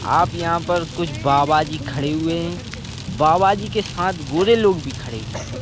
आप यहाँ पर कुछ बाबा जी खड़े हुए हैं बाबा जी के साथ गोरे लोग भी खड़े हुए हैं ।